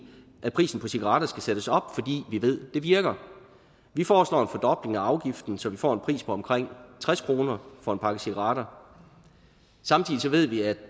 at prisen på cigaretter skal sættes op fordi vi ved det virker vi foreslår en fordobling af afgiften så vi får en pris på omkring tres kroner for en pakke cigaretter samtidig ved vi at